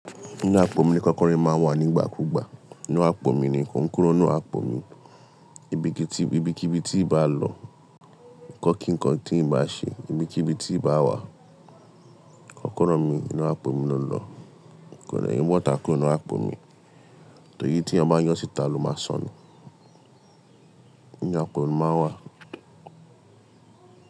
Inú àpò mi ni kọ́kọ́rọ́ mi máa ń wà nígbà kúgbà. Inú àpò mi ni kon kúrò nínú àpò mi. Ibi kí ibi tí bá lọ, nǹkan kí nǹkan tí ì bá ṣe, ibi kí ibi tí ì bá wà, kọ́kọ́rọ́ mi inú àpò mi ló lọ. Kò de ní botà kuro ninú àpò mi. Tori tí eyan ba yọ síta ló máa sọnù. Inú àpò mi máa wà.